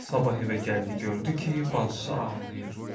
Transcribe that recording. Sabah evə gəlib gördü ki, bacısı ağlayır.